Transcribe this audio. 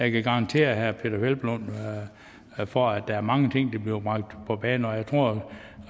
kan garantere herre peder hvelplund for at der er mange ting der bliver bragt på banen og jeg tror